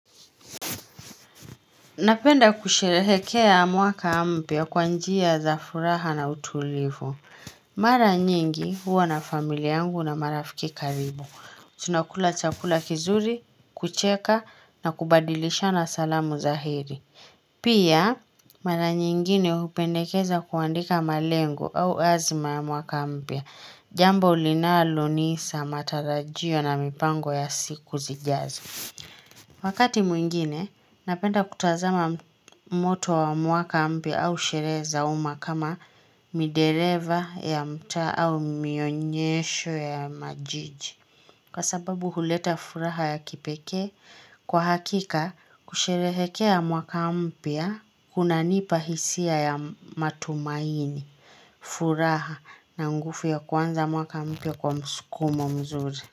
Napenda kusherehekea mwaka mpya kwa njia za furaha na utulivu. Mara nyingi huwa na familia yangu na marafiki karibu. Tunakula chakula kizuri, kucheka na kubadilishana salamu za heri. Pia mara nyingine upendekeza kuandika malengo au azima ya mwaka mpya. Jambo linalo nisa, matarajio na mipango ya siku zijazo. Wakati mwingine, napenda kutazama moto wa mwaka mpya au sherehe za uma kama mdeleva ya mtaa au mionyesho ya majiji. Kwa sababu huleta furaha ya kipeke, kwa hakika kusherehekea mwaka mpya hunanipa hisia ya matumaini, furaha na nguvu ya kwanza mwaka mpya kwa msukumo mzuri.